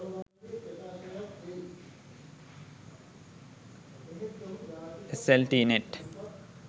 sltnet